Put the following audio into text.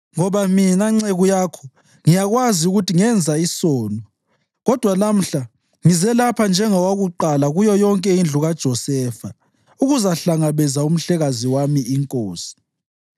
Ngoba mina nceku yakho ngiyakwazi ukuthi ngenza isono, kodwa lamhla ngize lapha njengowakuqala kuyo yonke indlu kaJosefa ukuzahlangabeza umhlekazi wami, inkosi.”